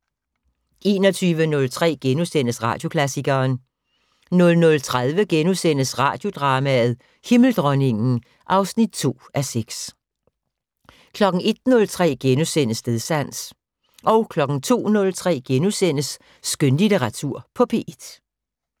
21:03: Radioklassikeren * 00:30: Radiodrama: Himmeldronningen (2:6)* 01:03: Stedsans * 02:03: Skønlitteratur på P1 *